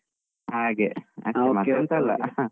ಹಾಗೆ, .